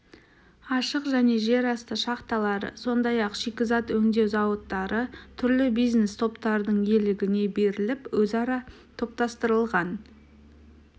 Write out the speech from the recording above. ашық және жерасты шахталары сондай-ақ шикізат өңдеу зауыттары түрлі бизнес топтардың иелігіне беріліп өзара топтастырылған